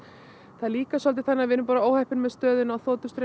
það er líka svolítið þannig að við erum óheppin með stöðuna á